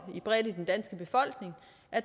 er